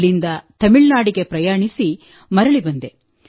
ಅಲ್ಲಿಂದ ತಮಿಳುನಾಡಿಗೆ ಪ್ರಯಾಣಿಸಿ ಮರಳಿ ಬಂದೆ